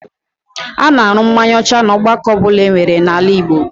A na-an̄ụ mmanya ọcha n'ọgbakọ ọbụla enwere n'ala Igbo